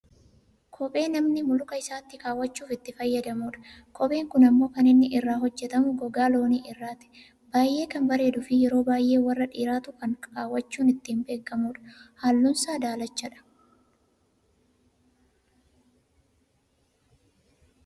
kophee namni luka isaatti kaawwachuuf itti fayyadamudha. kophee kun ammoo kan inni irraa hojjatame gogaa loonii irraati. baayyee kan bareeduufi yeroo baayyee warra dhiiraatu kan kaawwachuun ittiin beekkamudha. halluunsaa daalachadha.